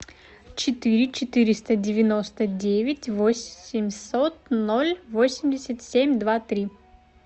четыре четыреста девяносто девять восемьсот ноль восемьдесят семь два три